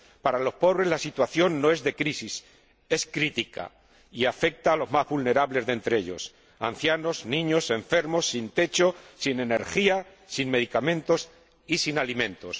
Para los pobres la situación no es de crisis, es crítica y afecta a los más vulnerables de entre ellos ancianos, niños, enfermos, sin techo, sin energía, sin medicamentos y sin alimentos.